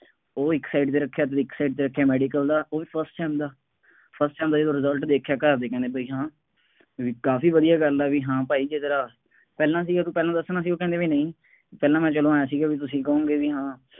ਉਹ ਇੱਕ side ਤੇ ਰੱਖਿਆ ਸੀ, ਇੱਕ side ਤੇ ਰੱਖਿਆਂ ਮੈਡੀਕਲ ਦਾ, ਉਹ ਵੀ first sem ਦਾ, first sem ਦਾ ਜਦੋਂ result ਦੇਖਿਆ ਘਰ ਦੇ ਕਹਿੰਦੇ ਬਈ ਹਾਂ ਬਈ ਕਾਫੀ ਵਧੀਆਂ ਗੱਲ ਹੈ, ਬਈ ਹਾਂ ਭਾਈ ਜੇ ਤੇਰਾ ਪਹਿਲਾਂ ਸੀਗਾ ਤੂੰ ਪਹਿਲਾ ਦੱਸਣਾ ਸੀ, ਉਹ ਕਹਿੰਦੇ ਬਈ ਨਹੀਂ, ਪਹਿਲਾ ਮੈਂ ਚੱਲੋ ਆਂਏਂ ਸੀਗਾ ਬਈ ਤੁਸੀਂ ਕਹੋਂਗੇ ਬਈ ਹਾਂ